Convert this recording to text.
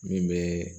Min bɛ